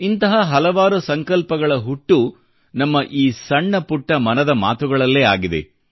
ಇಂತಹ ಹಲವಾರು ಸಂಕಲ್ಪಗಳ ಹುಟ್ಟು ನಮ್ಮ ಈ ಸಣ್ಣ ಪುಟ್ಟ ಮನದ ಮಾತುಗಳಲ್ಲೇ ಆಗಿದೆ